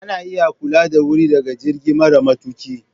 Ana iya kula da wuri daga jirgi mara matuƙi.